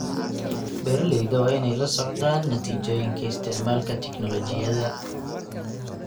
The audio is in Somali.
Beeralayda waa inay la socdaan natiijooyinka isticmaalka tignoolajiyada.